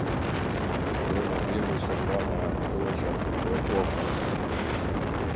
ух обожаю небо всё рваное в клочьях облаков